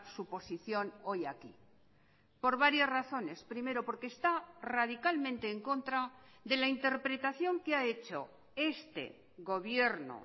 su posición hoy aquí por varias razones primero porque está radicalmente en contra de la interpretación que ha hecho este gobierno